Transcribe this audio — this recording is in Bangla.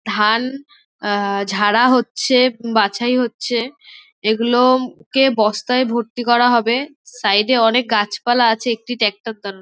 ধান আ ঝাড়া হচ্ছে বাছাই হচ্ছে। এইগুলো-ও কে বস্তায় ভর্তি করা হবে। সাইড -এ অনকে গাছপালা আছে। একটি ট্রাক্টর দাঁড়--